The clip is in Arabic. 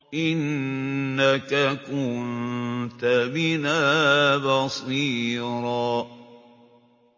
إِنَّكَ كُنتَ بِنَا بَصِيرًا